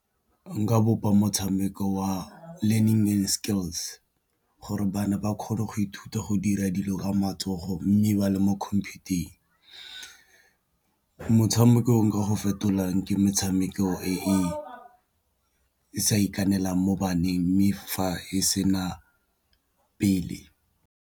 Nka bopa motshameko wa learning skills gore bana ba kgone go ithuta go dira dilo ka matsogo mme ba le mo khumputeng, motshameko nka go fetolang ke metshameko e e sa ikanelang mo baneng mme fa e sena pele.